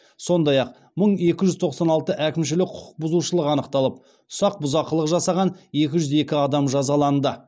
сондай ақ мың екі жүз тоқсан алты әкімшілік құқық бұзушылық анықталып ұсақ бұзақылық жасаған екі жүз екі адам жазаланды